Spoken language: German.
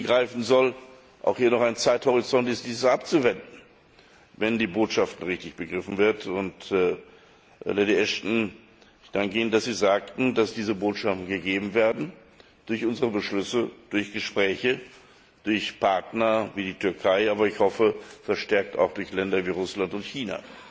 1. Juli greifen sollen, auch hier noch ein Zeithorizont ist, das abzuwenden, wenn die Botschaft richtig begriffen wird. Lady Ashton, ich danke Ihnen dafür, dass Sie sagten, dass diese Botschaften gegeben werden durch unsere Beschlüsse, durch Gespräche, durch Partner wie die Türkei, aber ich hoffe, verstärkt auch durch Länder wie Russland und China,